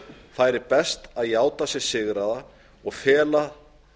færi best að játa sig sigraða og fela